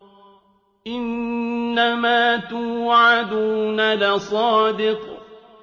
إِنَّمَا تُوعَدُونَ لَصَادِقٌ